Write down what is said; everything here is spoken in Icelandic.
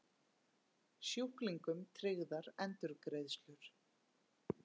Sjúklingum tryggðar endurgreiðslur